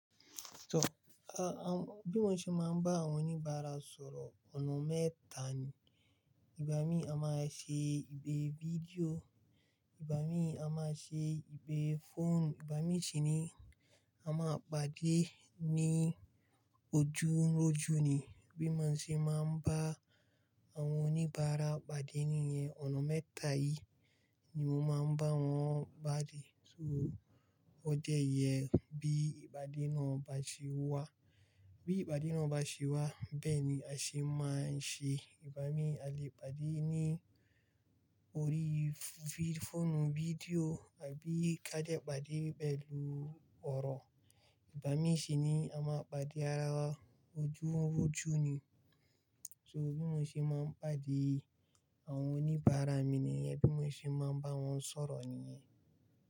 So, a-a bí mo ṣe máa ń bá àwọn oníbàárà sọ̀rọ̀ ọ̀nà mẹ́ta ni. Ìgbá mi a máa ṣe ìpè fídíò, Ìgbá mi a máa ṣe ìpè fóònù, Ìgbá mi sì ni a máa pàdé ní ojú n r'ojú ni. Bí mo ṣe máa ń bá àwọn oníbàárà pàdé nìyẹn, ọ̀nà mẹ́ta yìí ni mo máa ń bá wọn bá dé. So ó jẹ́ yẹ bí ìpàdé náà bá ṣe wá. Bí ìpàdé náà bá ṣe wá, bẹ́ẹ̀ ni a ṣe máa ń ṣe Ìgbá mi. A lè pàdé ní orí f-f-fóònù fídíò àbí ká dẹ pàdé pẹ̀lú ọ̀rọ̀. Ìbá mi sì ni a máa pàdé ara wa ojú n r'ojú ni. So bí mo ṣe máa ń pàdé àwọn oníbàárà mi nìyẹn, bí mo ṣe máa ń bá wọn sọ̀rọ̀ nìyẹn.